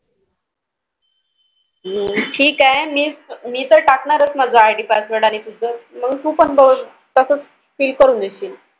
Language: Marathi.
हम्म ठीक आहे मी तर टाकणारच आहे ID password तुझं तू पण तसेच Fill करून देशील.